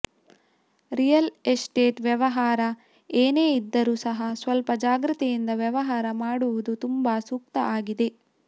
real estate ವ್ಯವಹಾರ ಏನೇ ಇದ್ದರು ಸಹ ಸ್ವಲ್ಪ ಜಾಗ್ರತೆಯಿಂದ ವ್ಯವಹಾರ ಮಾಡುವುದು ತುಂಬಾ ಸೂಕ್ತ ಆಗಿದೆ